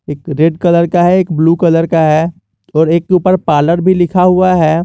एक red colour का है एक ब्लू कलर का है और एक के ऊपर पार्लर भी लिखा हुआ है।